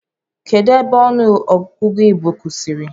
Kedụ ebe ọnụ ogụgụ igbo kwụsịrị?